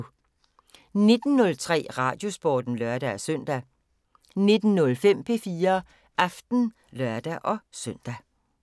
19:03: Radiosporten (lør-søn) 19:05: P4 Aften (lør-søn)